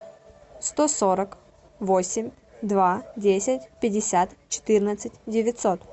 сто сорок восемь два десять пятьдесят четырнадцать девятьсот